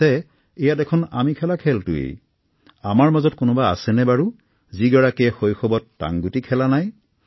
আমাৰ মাজত কোনোবা আছেনে বাৰু যিয়ে শৈশৱত টাংগুটি খেলা নাই